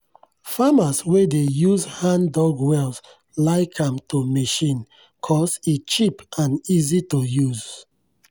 farmers wey dey use hand-dug wells like am to machine cause e cheap and easy to use.